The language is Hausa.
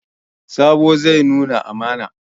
Sabo zai nuna amana.